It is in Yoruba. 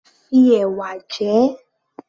Fi ẹ̀wà jẹ ẹ́